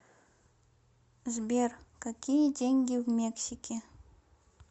сбер какие деньги в мексике